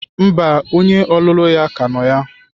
Mba, onye ọlụlụ ya ka nọ ya.